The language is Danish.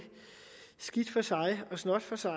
skidt for sig og snot for sig